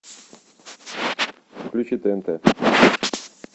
включи тнт